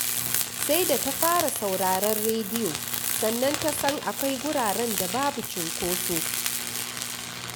Sai da ta fara sauraron rediyo, sannan ta san akwai wuraren da babu cunkoso